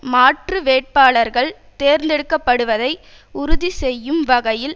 மாற்று வேட்பாளர்கள் தேர்ந்தெடுக்கப்படுவதை உறுதி செய்யும் வகையில்